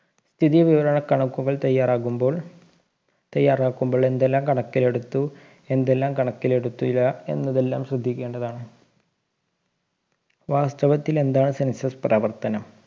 സ്ഥിതി വിവരണ കണക്കുകൾ തയ്യാറാകുമ്പോൾ തയ്യാറാക്കുമ്പോൾ എന്തെല്ലാം കണക്കിലെടുത്ത് എന്തെല്ലാം കണക്കിലെടുത്തില്ല എന്നതെല്ലാം ശ്രദ്ധിക്കേണ്ടതാണ് വാസ്തവത്തിൽ എന്താണ് census പ്രവർത്തനം